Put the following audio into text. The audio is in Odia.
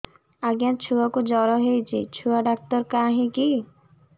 ଆଜ୍ଞା ଛୁଆକୁ ଜର ହେଇଚି ଛୁଆ ଡାକ୍ତର କାହିଁ କି